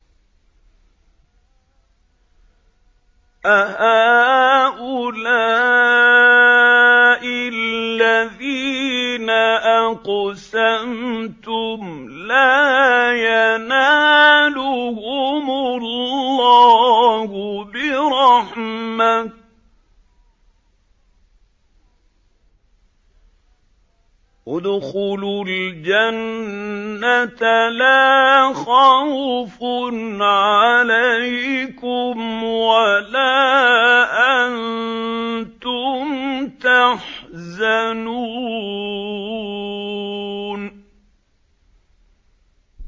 أَهَٰؤُلَاءِ الَّذِينَ أَقْسَمْتُمْ لَا يَنَالُهُمُ اللَّهُ بِرَحْمَةٍ ۚ ادْخُلُوا الْجَنَّةَ لَا خَوْفٌ عَلَيْكُمْ وَلَا أَنتُمْ تَحْزَنُونَ